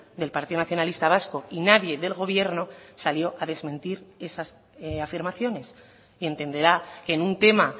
del partido nacionalista vasco y nadie del gobierno salió a desmentir esas afirmaciones y entenderá que en un tema